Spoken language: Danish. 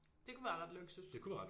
Det kunne være ret luksus